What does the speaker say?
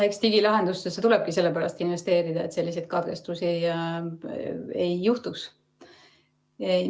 Eks digilahendustesse tulebki sellepärast investeerida, et selliseid katkestusi ei juhtuks.